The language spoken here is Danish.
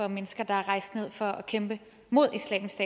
mennesker der er rejst ned for at kæmpe mod islamisk